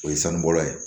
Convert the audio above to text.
O ye sanubɔla ye